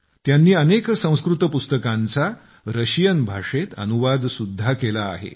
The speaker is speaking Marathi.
त्यांनी अनेक संस्कृत पुस्तकांचा रशियन भाषेत अनुवाद सुद्धा केला आहे